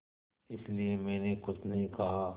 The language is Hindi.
इसलिए मैंने कुछ नहीं कहा